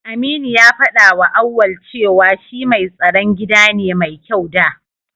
Aminu ya faɗawa Auwal cewa shi mai tsaron gida ne mai kyau da.